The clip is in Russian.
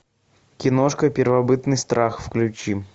киношка первобытный страх включи